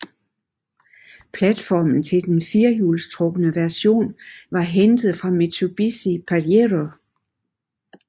Platformen til den firehjulstrukne version var hentet fra Mitsubishi Pajero